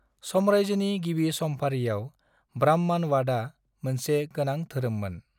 साम्रायजोनि गिबि समफारियाव ब्राह्मणवादआ मोनसे गोनां धोरोममोन।